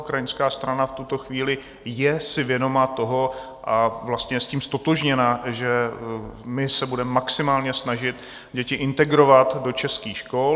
Ukrajinská strana v tuto chvíli si je vědoma toho a vlastně je s tím ztotožněna, že my se budeme maximálně snažit děti integrovat do českých škol.